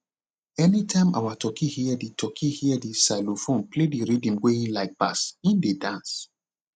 anytime our turkey hear the turkey hear the xylophone play the rhythm wey en like pass en dey dance